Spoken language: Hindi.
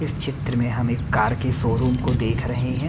इस चित्र में हम एक कार के शोरूम को देख रहे हैं।